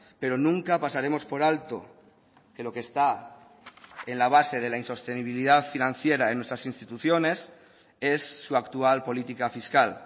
pero nunca pasaremos por alto que lo que está en la base de la insostenibilidad financiera en nuestras instituciones es su actual política fiscal